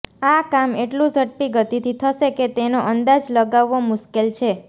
આ કામ એટલું ઝડપી ગતિથી થશે કે તેનો અંદાજ લગાવવો મુશ્કેલ છે